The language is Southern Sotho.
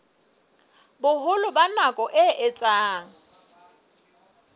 boholo ba nako e etsang